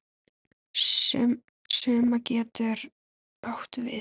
Summa getur átt við